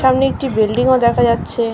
সামনে একটি বিল্ডিং ও দেখা যাচ্ছে।